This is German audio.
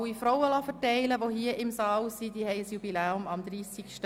Ich lasse die Information an alle Frauen hier im Saal verteilen.